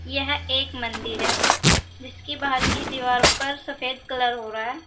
यह एक मंदिर है जिसकी बाहर की दीवार पर सफेद कलर हो रहा है।